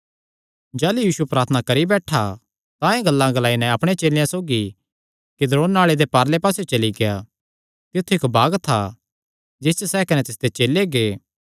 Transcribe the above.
जाह़लू यीशु प्रार्थना करी बैठा तां एह़ गल्लां ग्लाई नैं अपणे चेलेयां सौगी किद्रोन नाल़े दे पारले पास्सेयो चली गेआ तित्थु इक्क बाग था जिस च सैह़ कने तिसदे चेले गै